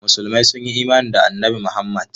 Musulmai sun yi imani da Annabi Muhammad.